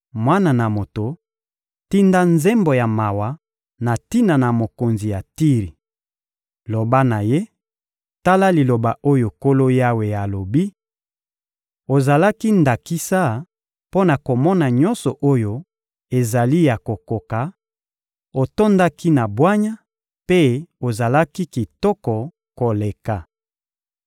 «Mwana na moto, tinda nzembo ya mawa na tina na mokonzi ya Tiri! Loba na ye: ‹Tala liloba oyo Nkolo Yawe alobi: Ozalaki ndakisa mpo na komona nyonso oyo ezali ya kokoka, otondaki na bwanya, mpe ozalaki kitoko koleka.